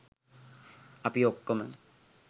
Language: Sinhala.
අපි ඔක්‌කොම